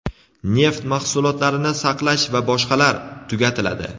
neft mahsulotlarini saqlash va boshqalar) tugatiladi.